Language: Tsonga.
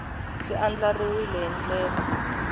swi andlariwile hi ndlela yo